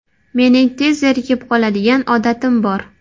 Mening tez zerikib qoladigan odatim bor.